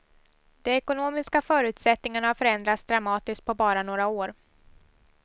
De ekonomiska förutsättningarna har förändrats dramatiskt på bara några år.